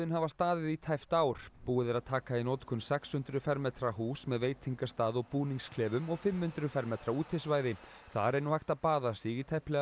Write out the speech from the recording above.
hafa staðið í tæpt ár búið er að taka í notkun sex hundruð fermetra hús með veitingastað og búningsklefum og fimm hundruð fermetra útisvæði þar er nú hægt að baða sig í tæplega